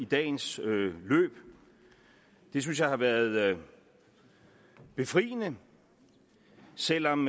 dagens løb det synes jeg har været befriende selv om